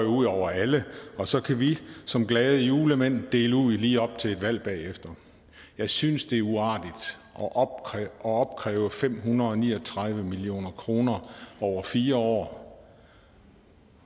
ud over alle og så kan vi som glade julemænd dele ud lige op til et valg bagefter jeg synes det er uartigt at opkræve fem hundrede og ni og tredive million kroner over fire år